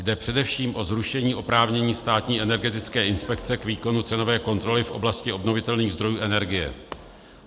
Jde především o zrušení oprávnění Státní energetické inspekce k výkonu cenové kontroly v oblasti obnovitelných zdrojů energie.